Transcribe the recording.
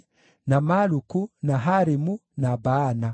na Maluku, na Harimu, na Baana.